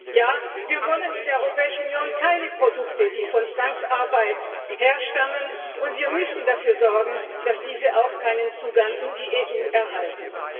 Ja, wir wollen in der Europäischen Union keine Produkte, die aus Zwangsarbeit stammen, und wir müssen dafür sorgen, dass diese auch keinen Zugang in die EU erhalten.